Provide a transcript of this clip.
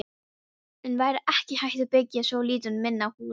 En væri ekki hægt að byggja svolítið minna hús?